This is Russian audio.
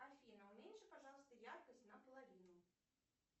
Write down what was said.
афина уменьши пожалуйста яркость на половину